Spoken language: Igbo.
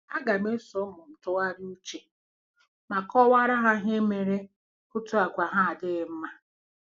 A gam -eso ụmụ m tụgharịa uche ma kọwara ha ihe mere otu àgwà há adịghị mma.